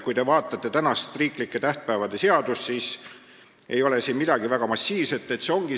Kui te vaatate meie tähtpäevade seadust, siis näete, et midagi väga massiivset seal ei ole.